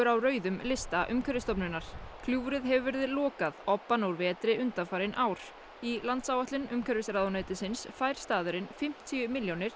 á rauðum lista Umhverfisstofnunar gljúfrið hefur verið lokað obbann úr vetri undanfarin ár í landsáætlun umhverfisráðuneytisins fær staðurinn fimmtíu milljónir